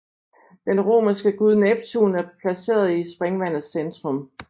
Den romerske gud Neptun er placeret i springvandets centrum